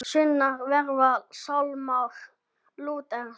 Sungnir verða sálmar Lúters.